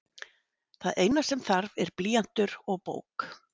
Það eina sem þarf er blýantur og bók.